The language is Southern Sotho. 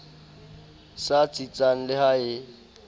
sa tsitsang le ha e